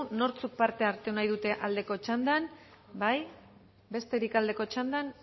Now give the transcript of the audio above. nortzuk parte hartu nahi dute aldeko txandan bai besterik aldeko txandan